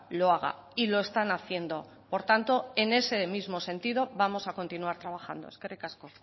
lo haga y lo están haciendo por tanto en ese mismo sentido vamos a continuar trabajando eskerrik asko